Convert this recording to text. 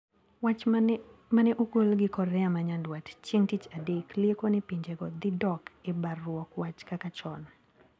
Wach mane ogol gi Korea manyandwat chieng` tich adek lieko ni pinjego dhidok e baruok wach kaka chon.